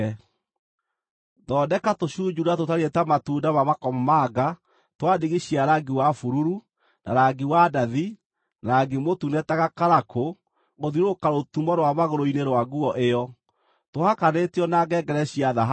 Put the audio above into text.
Thondeka tũcunjuura tũtariĩ ta matunda ma makomamanga twa ndigi cia rangi wa bururu, na rangi wa ndathi, na rangi mũtune ta gakarakũ gũthiũrũrũka rũtumo rwa magũrũ-inĩ rwa nguo ĩyo, tũhakanĩtio na ngengere cia thahabu.